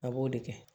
A b'o de kɛ